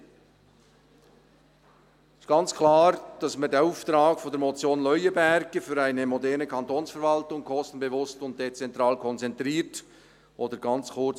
Es ist ganz klar, dass wir den Auftrag der Motion Leuenberger, «Für eine moderne Kantonsverwaltung – kostenbewusst und dezentral konzentriert» oder ganz kurz: